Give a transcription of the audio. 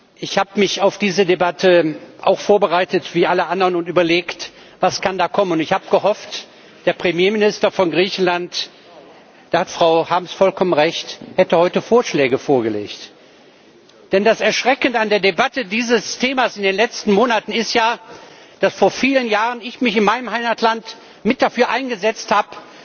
Herren Präsidenten, Herr Premierminister! Ich habe mich auf diese Debatte auch vorbereitet wie alle anderen und überlegt Was kann da kommen? Ich habe gehofft, der Premierminister von Griechenland da hat Frau Harms vollkommen recht hätte heute Vorschläge vorgelegt. Denn das Erschreckende an der Debatte dieses Themas in den letzten Monaten ist ja, dass ich mich vor vielen Jahren in meinem Heimatland mit dafür eingesetzt habe,